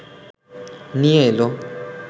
নিয়ে এল